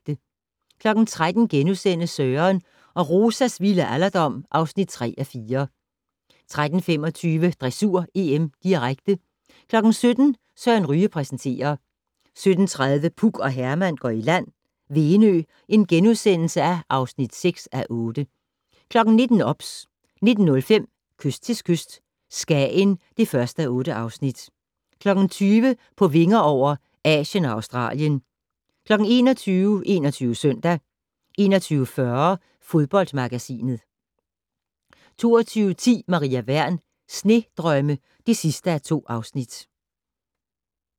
13:00: Søren og Rosas vilde alderdom (3:4)* 13:25: Dressur: EM, direkte 17:00: Søren Ryge præsenterer 17:30: Puk og Herman går i land - Venø (6:8)* 19:00: OBS 19:05: Kyst til kyst - Skagen (1:8) 20:00: På vinger over - Asien og Australien 21:00: 21 Søndag 21:40: Fodboldmagasinet 22:10: Maria Wern: Snedrømme (2:2)